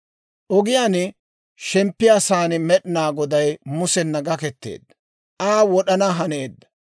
Ogiyaan shemppiyaasan Med'inaa Goday Musena gaketeedda; Aa wod'ana haneedda.